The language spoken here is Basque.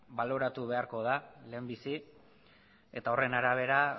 baloratu beharko da lehenbizi eta horren arabera